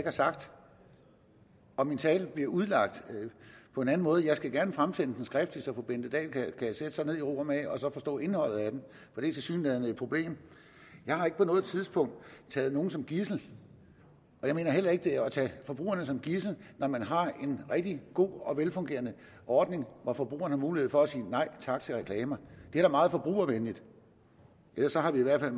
har sagt og min tale bliver udlagt på en anden måde jeg skal gerne fremsende den skriftligt så fru bente dahl kan sætte sig ned i ro og mag og forstå indholdet af den for det er tilsyneladende et problem jeg har ikke på noget tidspunkt taget nogen som gidsel og jeg mener heller ikke det er at tage forbrugerne som gidsel når man har en rigtig god og velfungerende ordning hvor forbrugerne har mulighed for at sige nej tak til reklamer det er da meget forbrugervenligt ellers har vi i hvert fald